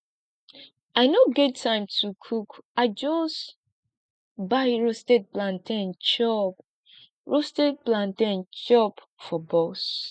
i no get time to cook i just buy roasted plantain chop roasted plantain chop for bus